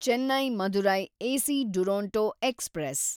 Chennai Madurai AC Duronto express